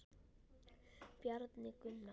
Bjarni Gunnar.